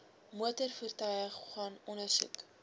motorvoertuie gaan ondersoek